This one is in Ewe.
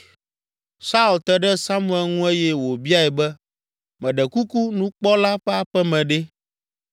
Saul te ɖe Samuel ŋu eye wòbiae be, “Meɖe kuku, nukpɔla ƒe aƒe me ɖe?”